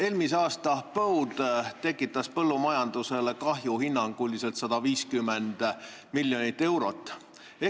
Eelmise aasta põud tekitas põllumajandusele hinnanguliselt 150 miljonit eurot kahju.